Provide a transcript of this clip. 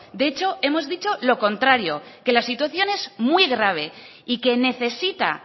de hecho hemos dicho lo contrario que la situación es muy grave y que necesita